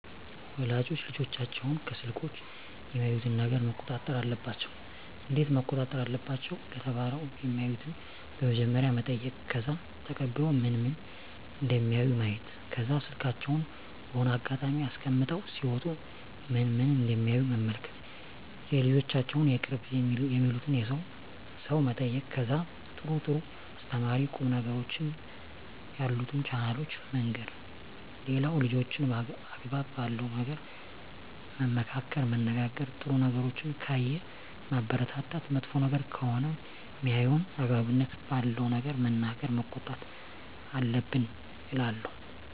ወላጆች ልጆቻቸውን ከስልኮች የሚያዩትን ነገረ መቆጣጠር አለባቸው እንዴት መቆጣጠር አለባቸው ለተባለው የማዩትን በመጀመሪያ መጠይቅ ከዛ ተቀብሎ ምን ምን እደሚያዩ ማየት ከዛ ስልካቸውን በሆነ አጋጣሚ አስቀምጠው ሲወጡ ምን ምን እደሚያዩ መመልከት የልጆቻቸውን የቅርብ የሚሉትን ሰው መጠየቅ ከዛ ጥሩ ጥሩ አስተማሪ ቁም ነገሮችን ያሉትን ቻናሎችን መንገር ሌላው ልጆችን አግባብ ባለው ነገር መመካከር መነጋገር ጥሩ ነገሮችን ካየ ማበረታታት መጥፎ ነገር ከሆነ ሜያየው አግባብነት ባለው ነገር መናገር መቆጣት አለብን እላለው